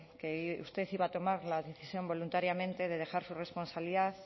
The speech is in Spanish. que usted iba a tomar la decisión voluntariamente de dejar su responsabilidad